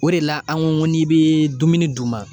O de la an ko n'i be dumuni d'u ma